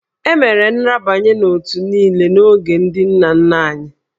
E mere nrabanye n'òtù niile n'oge ndị nna nna anyị